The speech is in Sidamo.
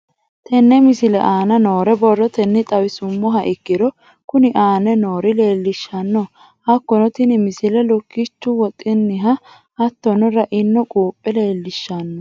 Tenne misile aana noore borrotenni xawisummoha ikirro kunni aane noore leelishano. Hakunno tinni misile lukkichchu woxinna hattonno ra'inno quuphphe leelishsano.